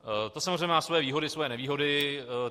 To samozřejmě má svoje výhody, svoje nevýhody.